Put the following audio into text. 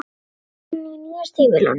Svo var hún í nýju stígvélunum.